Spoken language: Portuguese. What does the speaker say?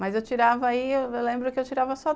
Mas eu tirava aí, eu lembro que eu tirava só